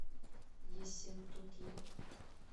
ессентуки